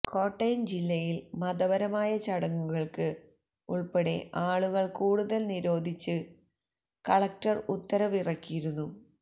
കോട്ടയം ജില്ലയിൽ മതപരമായ ചടങ്ങുകൾക്ക് ഉൾപ്പെടെ ആളുകൾ കൂടുന്നത് നിരോധിച്ച് കലക്ടർ ഉത്തരവ് ഇറക്കിയിരുന്നു